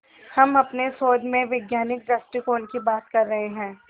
हम अपने शोध में वैज्ञानिक दृष्टिकोण की बात कर रहे हैं